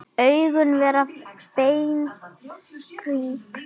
Augun verða beint strik.